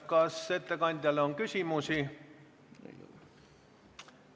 Kas ettekandjale on küsimusi?